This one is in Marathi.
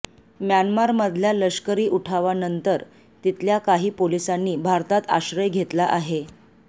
म्यानमारमधल्या लष्करी उठावानंतर तिथल्या काही पोलिसांनी भारतात आश्रय घेतला आहे